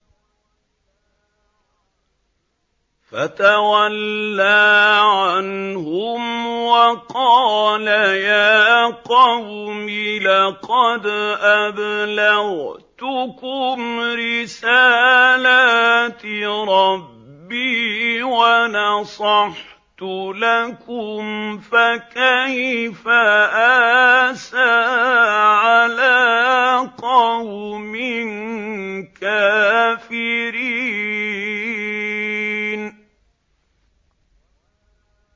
فَتَوَلَّىٰ عَنْهُمْ وَقَالَ يَا قَوْمِ لَقَدْ أَبْلَغْتُكُمْ رِسَالَاتِ رَبِّي وَنَصَحْتُ لَكُمْ ۖ فَكَيْفَ آسَىٰ عَلَىٰ قَوْمٍ كَافِرِينَ